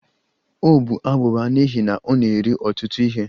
Ọ bụ abụba n'ihi na ọ na-eri ọtụtụ ihe